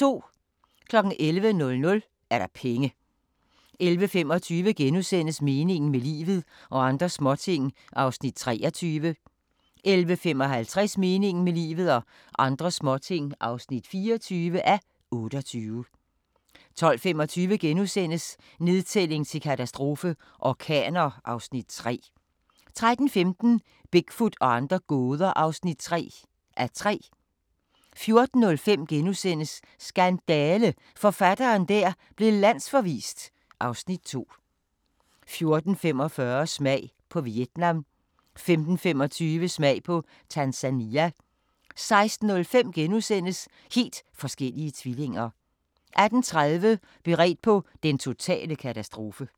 11:00: Penge 11:25: Meningen med livet – og andre småting (23:28)* 11:55: Meningen med livet – og andre småting (24:28) 12:25: Nedtælling til katastrofe – orkaner (Afs. 3)* 13:15: Bigfoot og andre gåder (3:3) 14:05: Skandale! – forfatteren der blev landsforvist (Afs. 2)* 14:45: Smag på Vietnam 15:25: Smag på Tanzania 16:05: Helt forskellige tvillinger * 18:30: Beredt på den totale katastrofe